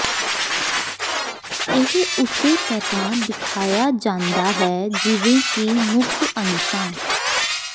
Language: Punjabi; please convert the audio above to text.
ਇਹ ਉਸੇ ਤਰ੍ਹਾਂ ਦਿਖਾਇਆ ਜਾਂਦਾ ਹੈ ਜਿਵੇਂ ਕਿ ਮੁੱਖ ਅੰਸ਼ਾਂ